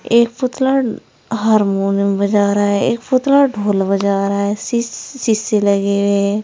एक पुतला हारमोनियम बजा रहा है एक पुतला ढोल बजा रहा है शीश शीशे लगे हुए हैं।